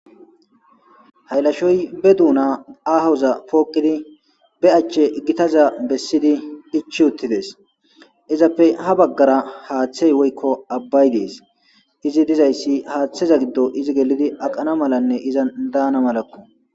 haylashoy be duuna ahoza pookidi be achche iggitaza bessidi ichi uttides izappe ha baggara haaththey woykko abbay dees izi dizayssi haaththeza giddo izi gelidi aqana malanne iza daana malakko